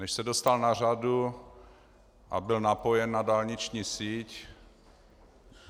Než se dostal na řadu a byl napojen na dálniční síť.